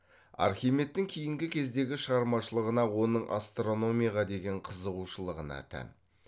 архимедтің кейінгі кездегі шығармашылығына оның астрономияға деген қызығушылығына тән